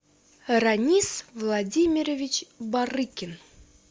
ранис владимирович барыкин